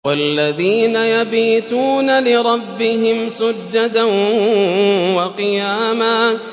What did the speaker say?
وَالَّذِينَ يَبِيتُونَ لِرَبِّهِمْ سُجَّدًا وَقِيَامًا